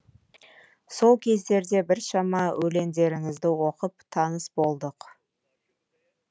сол кездерде біршама өлеңдеріңізді оқып таныс болдық